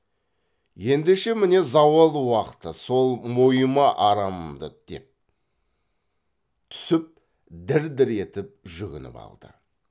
ендеше міне зауал уақты сол мойыма арымымды деп түсіп дір дір етіп жүгініп алды